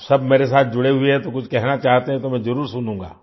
आप सब मेरे साथ जुड़े हुए हैं तो कुछ कहना चाहते हैं तो मैं जरुर सुनूंगा